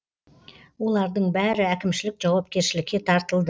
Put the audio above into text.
олардың бәрі әкімшілік жауапкершілікке тартылды